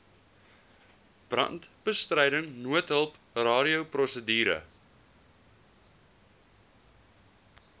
brandbestryding noodhulp radioprosedure